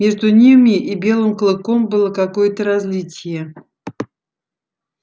между ними и белым клыком было какое-то различие